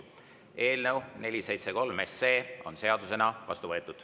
Eelnõu 473 on seadusena vastu võetud.